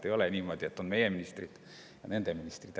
Ei ole niimoodi, et on meie ministrid ja nende ministrid.